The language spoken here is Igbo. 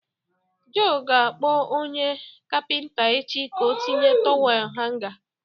Joe ga-akpọ onye kapịnta echi ka ọ tinye tọwel hanga.